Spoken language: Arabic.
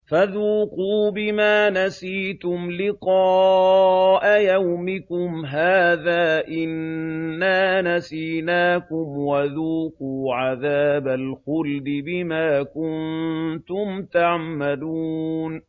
فَذُوقُوا بِمَا نَسِيتُمْ لِقَاءَ يَوْمِكُمْ هَٰذَا إِنَّا نَسِينَاكُمْ ۖ وَذُوقُوا عَذَابَ الْخُلْدِ بِمَا كُنتُمْ تَعْمَلُونَ